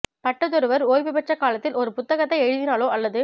பட்டதொருவர் ஓய்வு பெற்ற காலத்தில் ஒரு புத்தகத்தை எழுதினாலோ அல்லது